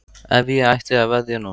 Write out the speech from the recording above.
Ef ég ætti að veðja núna?